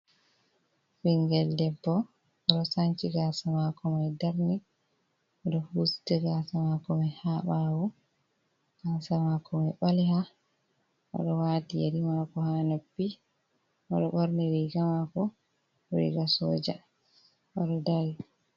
Ɓinngel debbo, oɗo sancii gaasa maako mai darni o ɗoo husti gaasa maako ko mai ha ɓaawoo, gaasa maako mai ɓaaleeha oɗo wati yeeri maako, ha noppi, oɗo ɓorni riga mako, riga sooja oɗo daari.